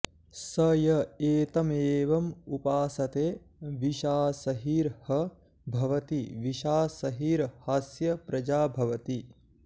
स य एतमेवमुपास्ते विषासहिर्ह भवति विषासहिर्हास्य प्रजा भवति